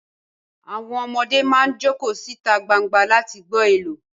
Àwọn ọmọdé máa jókòó síta gbangba láti gbọ́ àlọ́